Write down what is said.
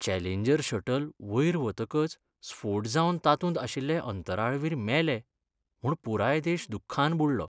Challenger shuttle वयर वतकच स्फोट जावन तातूंत आशिल्ले अंतराळवीर मेले म्हूण पुराय देश दुख्खान बुडलो.